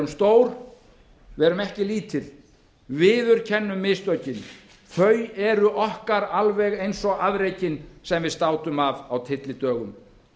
stór verum ekki lítil viðurkennum mistökin þau eru okkar alveg eins og afrekin sem við státum af á tyllidögum